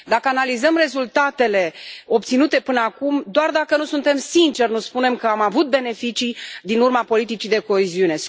Dacă analizăm rezultatele obținute până acum, doar dacă nu suntem sinceri, nu spunem că am avut beneficii de pe urma politicii de coeziune.